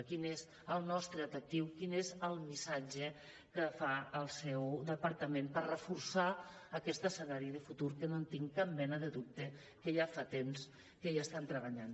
quin és el nostre atractiu quin és el missatge que fa el seu departament per reforçar aquest escenari de futur que no tinc cap mena de dubte que ja fa temps que hi estan treballant